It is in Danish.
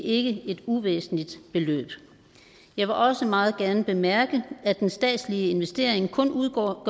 ikke et uvæsentligt beløb jeg vil også meget gerne bemærke at den statslige investering kun udgør